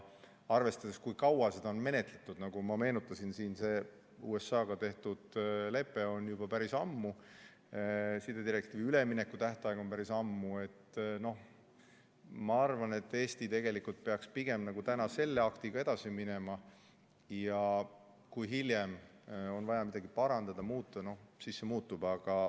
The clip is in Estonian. Arvestades, kui kaua seda on menetletud – nagu ma meenutasin, see USA-ga tehtud lepe sõlmiti juba päris ammu ja sidedirektiivi üleminekutähtaeg oli päris ammu –, siis ma arvan, et Eesti peaks pigem täna selle aktiga edasi minema ja kui hiljem on vaja midagi parandada või muuta, siis see muutub.